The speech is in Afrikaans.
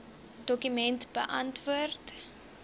dokument beantwoord